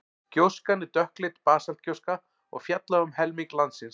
gjóskan er dökkleit basaltgjóska og féll á um helming landsins